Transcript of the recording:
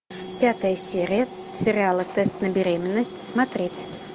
пятая серия сериала тест на беременность смотреть